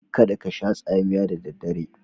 Kada kasha tsamiya da daddare.